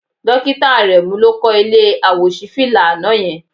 Dókítà Àrẹ̀mú ló kọ́ ilé àwòṣífìlà àná yẹn